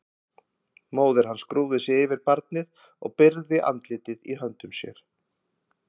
Móðir hans grúfði sig yfir barnið og byrgði andlitið í höndum sér.